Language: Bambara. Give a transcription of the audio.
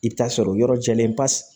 I bɛ t'a sɔrɔ yɔrɔ jɛlen pasi